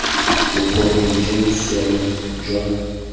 bokgoni jo bo siameng jwa